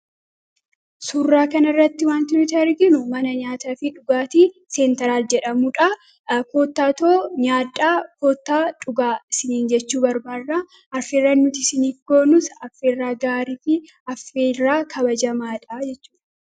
Suraa kana irratti wanti nuti arginu mana nyaataa fi dhugaati seen taraal jedhamudha kootaatoo nyaadaa kootaa dhugaa siniin jechuu barbaarra arferra nuti siniikoo nus arfirraa gaariifi affeerraa kabajamaadha jechuudha.